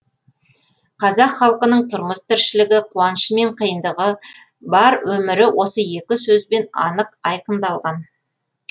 қазақ халқының тұрмыс тіршілігі қуанышы мен қиындығы бар өмірі осы екі сөзбен анық айқындалған